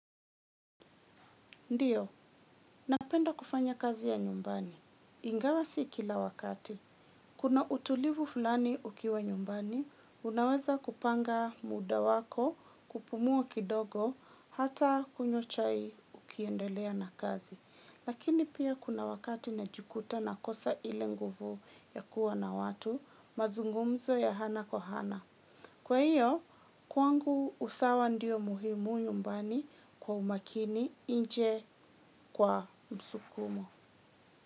Ndiyo, napenda kufanya kazi ya nyumbani. Ingawa si kila wakati. Kuna utulivu fulani ukiwa nyumbani, unaweza kupanga muda wako, kupumua kidogo, hata kunywa chai ukiendelea na kazi. Lakini pia kuna wakati najikuta nakosa ile nguvu ya kuwa na watu, mazungumzo ya ana kwa ana. Kwa hiyo, kwangu usawa ndiyo muhimu nyumbani kwa umakini nje kwa msukumo.